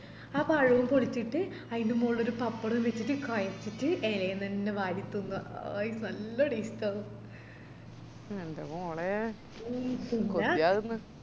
ആ പഴോം പൊളിച്ചിറ്റ് അയിന്റെ മോളിലൊരു പപ്പടോം വെച്ചിറ്റ് കോയച്ചിറ്റ് എലെന്നന്നെ വാരി തിന്നുആ hai നല്ല taste ആന്ന്